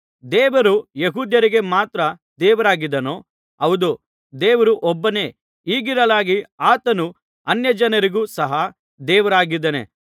ದೇವರು ಯೆಹೂದ್ಯರಿಗೆ ಮಾತ್ರ ದೇವರಾಗಿದ್ದಾನೋ ಹೌದು ದೇವರು ಒಬ್ಬನೇ ಹೀಗಿರಲಾಗಿ ಆತನು ಅನ್ಯಜನರಿಗೂ ಸಹ ದೇವರಾಗಿದ್ದಾನೆ